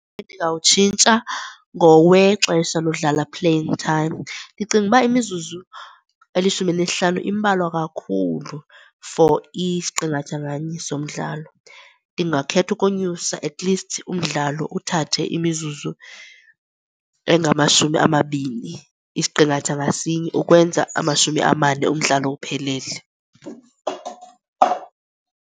Endingawutshintsha ngowexesha lodlala, playing time. Ndicinga uba imizuzu elishumi elinesihlanu imbalwa kakhulu for isiqingatha nganye somdlalo. Ndingakhetha ukonyusa, atleast umdlalo uthathe imizuzu engamashumi amabini isiqingatha ngasinye ukwenza amashumi amane umdlalo uphelele.